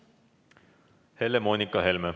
Helle-Moonika Helme.